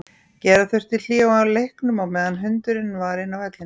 Gera þurfti hlé á leiknum á meðan hundurinn var inn á vellinum.